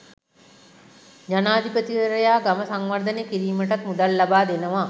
ජනාධිපතිවරයා ගම සංවර්ධනය කිරීමටත් මුදල් ලබා දෙනවා.